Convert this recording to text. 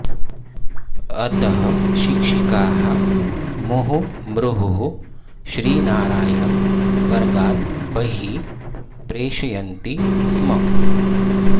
अतः शिक्षकाः मुहुर्मुहुः श्रीनारायणं वर्गात् बहिः प्रेषयन्ति स्म